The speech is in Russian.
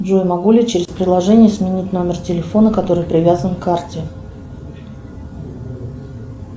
джой могу ли через приложение сменить номер телефона который привязан к карте